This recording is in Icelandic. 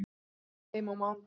Ég kem heim á mánudegi.